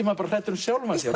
maður hræddur um sjálfan sig